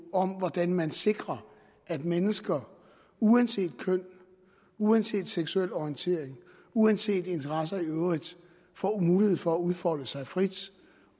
om hvordan man sikrer at mennesker uanset køn uanset seksuel orientering uanset interesser i øvrigt får mulighed for at udfolde sig frit